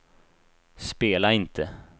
spela inte